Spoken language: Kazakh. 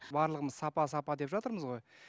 барлығымыз сапа сапа деп жатырмыз ғой